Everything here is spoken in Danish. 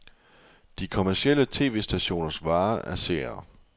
De kommercielle tv-stationers vare er seere.